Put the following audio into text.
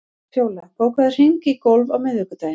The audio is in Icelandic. Fjóla, bókaðu hring í golf á miðvikudaginn.